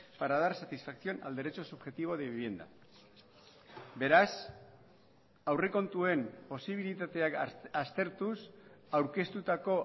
para dar satisfacción al derecho subjetivo de vivienda beraz aurrekontuen posibilitateak aztertuz aurkeztutako